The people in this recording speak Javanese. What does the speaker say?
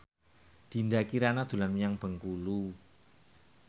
Dinda Kirana dolan menyang Bengkulu